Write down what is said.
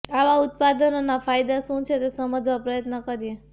આવા ઉત્પાદનોના ફાયદા શું છે તે સમજવા પ્રયત્ન કરીએ